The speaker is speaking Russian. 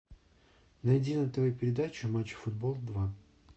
найди на тв передачу матч футбол два